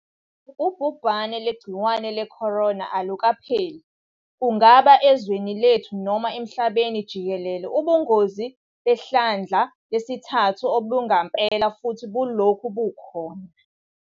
Ubhubhane lwegciwane leCorona alukapheli, kungaba ezweni lethu noma emhlabeni jikelele. Ubungozi behlandla lesithathu obangempela futhi bulokhu bukhona.